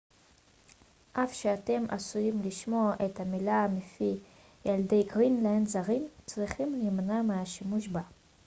אף שאתם עשויים לשמוע את המילה מפי ילידי גרינלנד זרים צריכים להימנע מהשימוש בה